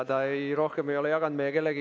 Ta ei ole seda rohkem jaganud meie kellegagi.